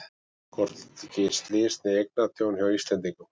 Hvorki slys né eignatjón hjá Íslendingum